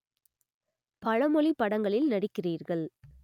பலமொழிப் படங்களில் நடிக்கிறீர்கள்